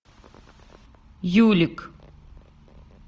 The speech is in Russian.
юлик